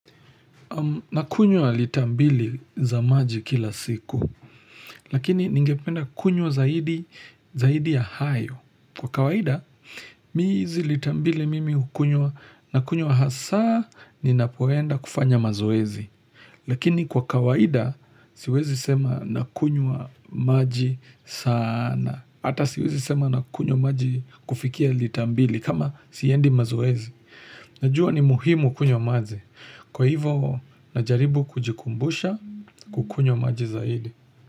Nakunywa lita mbili za maji kila siku, lakini ningependa kunywa zaidi ya hayo. Kwa kawaida, mi hizi lita mbili mimi hukunywa, nakunywa hasa, ninapoenda kufanya mazoezi. Lakini kwa kawaida, siwezi sema nakunywa maji sana. Hata siwezi sema nakunywa maji kufikia lita mbili kama siendi mazoezi. Najua ni muhimu kunywa maji. Kwa hivo, najaribu kujikumbusha kukunywa maji zaidi.